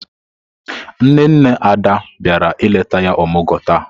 Nne nne Ada biara ileta ya omugwo taa.